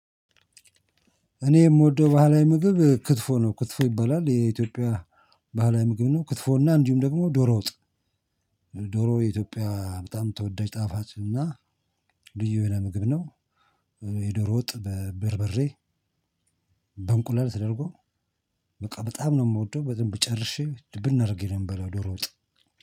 እኔ የምወደው ባህላዊ ምግብ ክትፎ ነው ክትፎ ይባላል የኢትዮጵያ ባህላዊ ምግብ ነው። ክትፎ እና እንዲሁም ደግሞ ዶሮ ወጥ። ዶሮ የኢትዮጵያ በጣም ተወዳጅ ጣፋጭ እና ልዩ የሆነ ምግብ ነው። የዶሮ ወጥ በበርበሬ በእንቁላል ተደርጎ በቃ በጣም ነው የምወደው በደንብ ጨርሼ ብናደርገኝ አርጌ ነው የምበላው። ዶሮ ወጣ